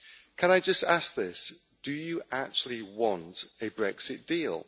Can I just ask this do you actually want a Brexit deal?